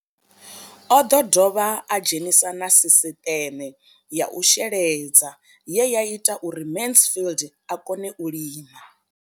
O ḓo dovha a dzhenisa na sisiṱeme ya u sheledza ye ya ita uri Mansfied a kone u lima.